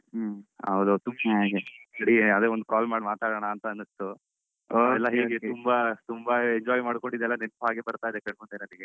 ಹೌದ ಅದೇ ಒಂದ್ call ಮಾಡಿ ಮಾತಾಡಣಅನ್ನಿಸ್ತುಎಲ್ಲ ಹೇಗೆ ತುಂಬ ತುಂಬ enjoy ಮಾಡ್ಕೊಂಡಿದ್ದೆಲ್ಲ ನೆನಪ್ ಹಾಗೆ ಬರ್ತಾ ಇದೆ ಕಣ್ಣ ಮುಂದೆ ನಂಗೆ.